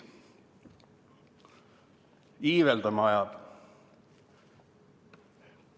Iiveldama ajab.